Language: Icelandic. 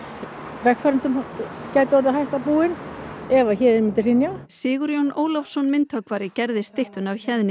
vegfarendum gæti orðið hætta búin ef Héðinn myndi hrynja Sigurjón Ólafsson myndhöggvari gerði styttuna af Héðni